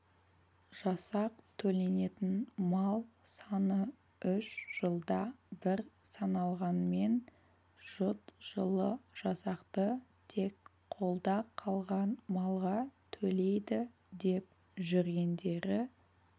жасақ төленетін мал саны үш жылда бір саналғанмен жұт жылы жасақты тек қолда қалған малға төлейді деп жүргендері